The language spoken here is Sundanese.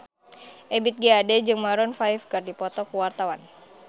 Ebith G. Ade jeung Maroon 5 keur dipoto ku wartawan